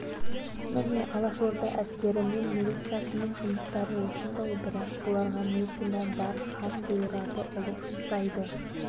міне алашорда әскері мен милициясының жұмыстары осындай бірақ бұларға не кінә бар хан бұйырады ұлық жұмсайды